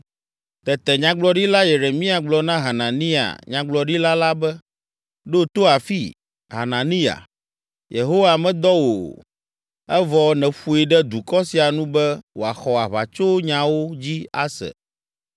Tete Nyagblɔɖila Yeremia gblɔ na Hananiya nyagblɔɖila la be, “Ɖo to afii, Hananiya! Yehowa medɔ wò o, evɔ nèƒoe ɖe dukɔ sia nu be wòaxɔ aʋatsonyawo dzi ase.